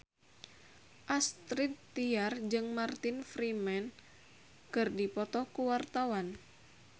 Astrid Tiar jeung Martin Freeman keur dipoto ku wartawan